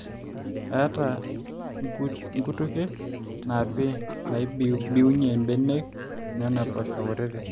eeta nkutukie naapi naibibiunye mbenek onena poosho kutitik